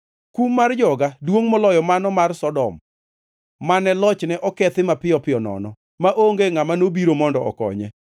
Kum mar joga duongʼ moloyo mano mar Sodom, mane lochne okethi mapiyo piyo nono maonge ngʼama nobiro mondo okonye.